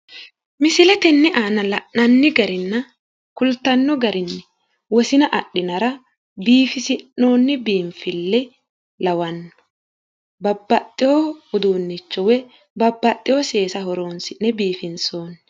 Misilete tenne aana la'nanni garinna kultanno gari wosina adhinara biifisi'noonni biinfille lawanno. Babbaxxiwo uduunnicho woyi babbaxxiwo seesa horoonsi'ne biifinsoonni.